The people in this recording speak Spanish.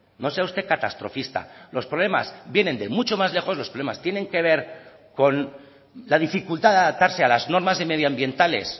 no sea usted catastrofista los problemas vienen de mucho más lejos los problemas tienen que ver con la dificultad de adaptarse a las normas medioambientales